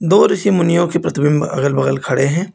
दो ऋषि मुनियों के प्रतिबिंब अगल बगल खड़े हैं।